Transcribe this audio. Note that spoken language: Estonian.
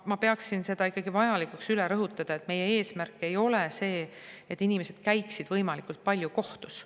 Ma pean ikkagi vajalikuks üle rõhutada, et meie eesmärk ei ole see, et inimesed käiksid võimalikult palju kohtus.